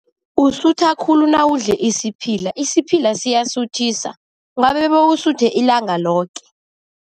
Usutha khulu nawudle isiphila. Isiphila siyasuthisa, ungabe bewusuthe ilanga loke.